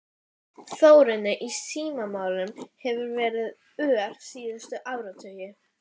Þorbjörn: Útilokar það skaðabótamál slitastjórnarinnar á hendur honum?